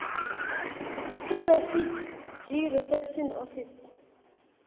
kurefugee reception office